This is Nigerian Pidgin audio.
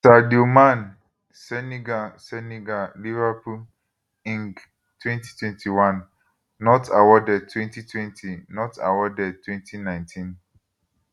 sadio man senegal senegal liverpool eng 2021 not awarded 2020 not awarded 2019